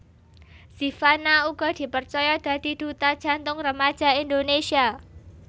Zivanna uga dipercaya dadi duta Jantung Remaja Indonésia